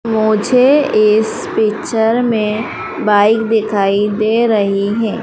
मुझे इस पिक्चर मे बाइक दिखाई दे रही है।